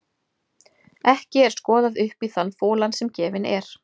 Ekki er skoðað upp í þann folann sem gefinn er.